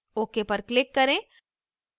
ok पर click करें